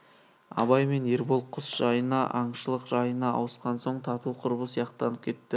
абай мен ербол құс жайына аңшылық жайына ауысқан соң тату құрбы сияқтанып кетті